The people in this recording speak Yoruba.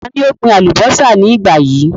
Ta ni ó ń gbin àlùbọ́sà ní ìgbà yìí?